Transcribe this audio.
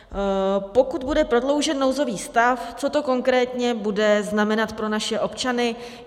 Pokud bude prodloužen nouzový stav, co to konkrétně bude znamenat pro naše občany?